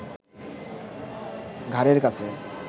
ঘাড়ের কাছে